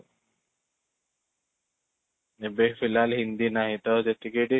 ଏବେ ହିନ୍ଦୀ ନାହିଁ ତ ଯେତିକି ଏଠି